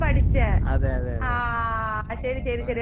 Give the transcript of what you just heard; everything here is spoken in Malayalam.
ആഹ് ശരി ശരി ശരി എന്നെ വിളിച്ചില്ല വിളിക്കുവായിരിക്കും.